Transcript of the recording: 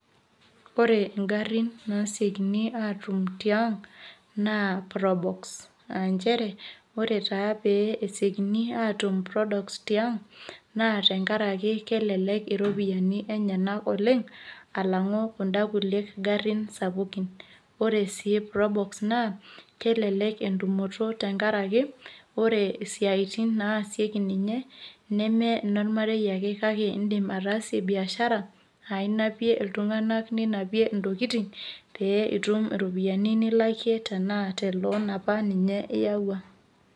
Ore ngarin nasiekini atum tiang naa probox, aa nchere ore taa pesiokini atum prodox tiang naa tenkaraki kelelek iropiyiani enyenak oleng alangu kunda kulie ngarin sapukin. Ore sii prodox naa kelelek entumoto tenkaraki , ore isiatin naasieki ninye neme inormarei ake kake indim ataasie biashara aa inapie iltunganak ninapie intokikitin pee itum iropiyiani nilakie tenaa ke te loan apa iyawua .